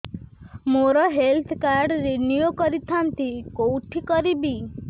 ମୋର health card renew କରିଥାନ୍ତି କୋଉଠି କରିବି